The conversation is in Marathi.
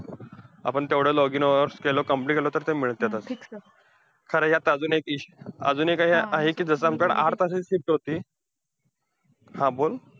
आपण तेवढं login hour केलं complete केलं, तर ते मिळत्यातचं. तर ह्यात एक अजून एक issue अजून एक आहे, कि जसं आमच्याकडे आठ तासाची shift होती, हा बोल.